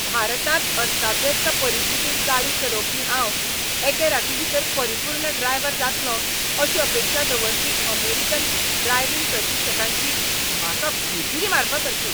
भारतांत अस्ताव्यस्त परिस्थितींत गाडी चलोवपी हांव एके रातीभितर परिपूर्ण ड्रायवर जातलों अशी अपेक्षा दवरपी अमेरिकन ड्रायव्हिंग प्रशिक्षकांची म्हाका भिरभिरी मारपासारकी.